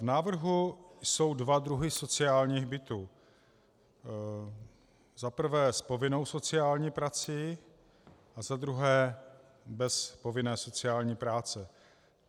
V návrhu jsou dva druhy sociálních bytů: za prvé s povinnou sociální prací a za druhé bez povinné sociální práce.